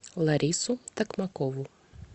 ларису токмакову